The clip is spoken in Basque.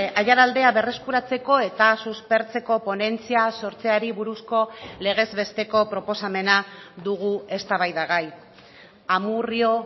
aiaraldea berreskuratzeko eta suspertzeko ponentzia sortzeari buruzko legez besteko proposamena dugu eztabaidagai amurrio